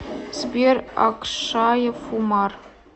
сбер акшаев умар